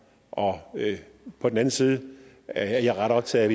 på den anden side er jeg ret optaget